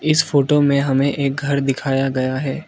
इस फोटो में हमें एक घर दिखाया गया है।